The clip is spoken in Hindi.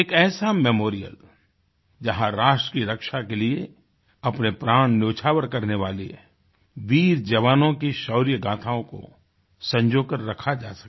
एक ऐसा मेमोरियल जहाँ राष्ट्र की रक्षा के लिए अपने प्राण न्योछावर करने वाले वीर जवानों की शौर्यगाथाओं को संजो कर रखा जा सके